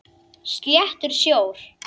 Sléttur sjór.